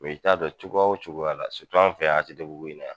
i t'a dɔn cogoya o cogoya la an fɛ yan ATT bugu in na.